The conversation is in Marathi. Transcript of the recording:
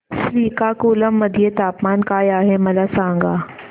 श्रीकाकुलम मध्ये तापमान काय आहे मला सांगा